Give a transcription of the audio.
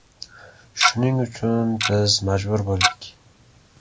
Shuning uchun biz majbur bo‘ldik.